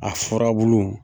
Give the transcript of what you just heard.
A furabulu.